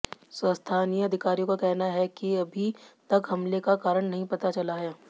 स्थानीय अधिकारियों का कहना है कि अभी तक हमले का कारण नहीं पता चला है